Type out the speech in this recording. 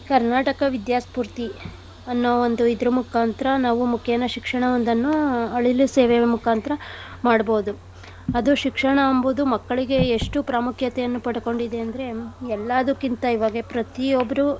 ಕರ್ನಾಟಕ ವಿದ್ಯಾ ಸ್ಪೂರ್ತಿ ಅನ್ನೋ ಒಂದು ಇದ್ರ್ ಮುಖಾಂತರ ನಾವು ಮುಖೇನ ಶಿಕ್ಷಣ ಒಂದನ್ನು ಅಳಿಲು ಸೇವೆಯ ಮುಖಾಂತರ ಮಾಡ್ಬೋದು. ಅದು ಶಿಕ್ಷಣ ಎಂಬುದು ಮಕ್ಕಳಿಗೆ ಎಷ್ಟು ಪ್ರಾಮುಖ್ಯತೆಯನ್ನು ಪಡ್ಕೊಂಡಿದೆ ಅಂದ್ರೆ ಎಲ್ಲಾದಕ್ಕಿಂತ ಇವಾಗ ಪ್ರತಿಯೊಬ್ರು.